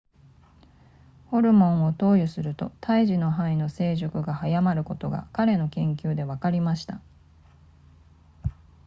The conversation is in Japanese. ホルモンを投与すると胎児の肺の成熟が早まることが彼の研究でわかりました